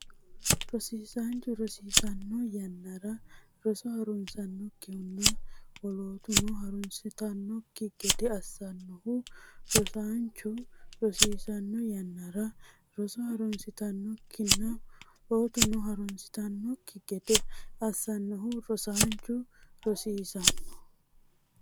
Rosiisaanchu rosiisanno yannara roso harunsannokkihunna lootuno harunsitannokki gede assannohu Rosiisaanchu rosiisanno yannara roso harunsannokkihunna lootuno harunsitannokki gede assannohu Rosiisaanchu rosiisanno.